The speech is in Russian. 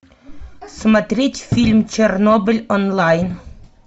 смотреть фильм чернобыль онлайн